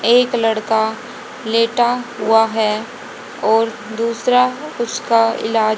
एक लड़का लेटा हुआ है और दूसरा उसका इलाज--